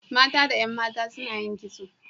Mata da 'yan mata suna yin kitso.